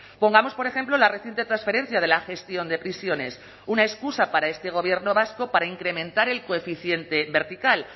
pongamos por ejemplo la reciente transferencia de la gestión de prisiones una excusa para este gobierno vasco para incrementar el coeficiente vertical